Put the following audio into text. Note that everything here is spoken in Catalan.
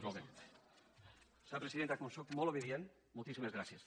senyora presidenta com sóc molt obedient moltíssimes gràcies